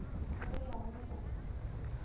le go ya go go